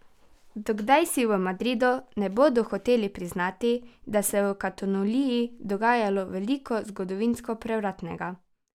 Do kdaj si v Madridu ne bodo hoteli priznati, da se v Kataloniji dogaja veliko zgodovinsko prevratnega?